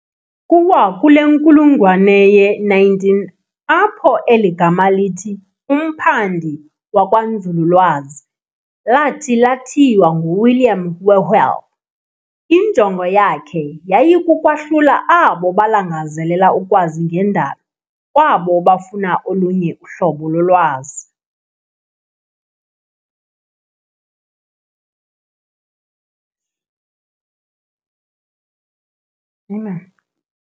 Kuwakule nkulungwane ye19 apho eli gama lithi "umphandi wakwanzululwazi" lathi lathiywa nguWilliam Whewell. Injongo yakhe yayikukwahlula abo balangazelela ukwazi ngendalo kwabo bafuna olunye uhlobo lolwazi.